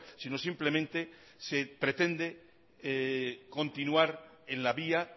sino simplemente se pretende continuar en la vía